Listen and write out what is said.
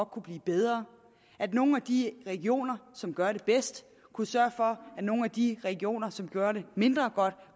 kunne blive bedre at nogle af de regioner som gør det bedst kunne sørge for at nogle af de regioner som gør det mindre godt